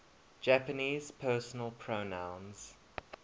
japanese personal pronouns